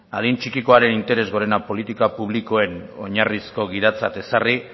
adin txikikoaren interes gorena politika publikoen oinarrizko gidatzat ezarri